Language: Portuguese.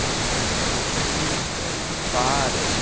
Todo mundo andando em mímica e param.